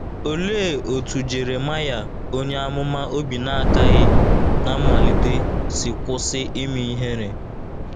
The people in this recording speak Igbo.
Olee otú Jeremaya onye amụma obi na - akaghị ná mmalite si kwụsị ime ihere?